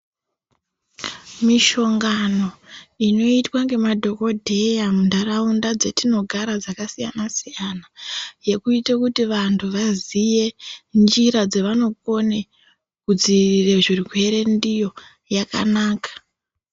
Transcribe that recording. Mishongano inoitwa ngemadhokodheya muntaraunda dzetinogara dzakasiyana siyana yekuite kuti vantu vaziye njira dzevanokone kudziirira zvirwere ndiyo yakanaka.